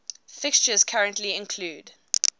fixtures currently include